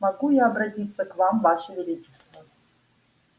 могу я обратиться к вам ваше величество